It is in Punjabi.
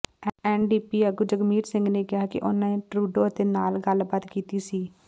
ਐਨਡੀਪੀ ਆਗੂ ਜਗਮੀਤ ਸਿੰਘ ਨੇ ਕਿਹਾ ਕਿ ਉਨ੍ਹਾਂ ਨੇ ਟਰੂਡੋ ਅਤੇ ਨਾਲ ਗੱਲਬਾਤ ਕੀਤੀ ਸੀ